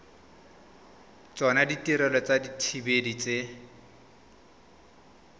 tsona ditirelo tsa dithibedi tse